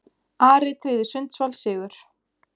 Ari tryggði Sundsvall sigur